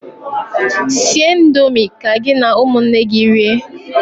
Sie indomi ka gị na ụmụnne gị rie!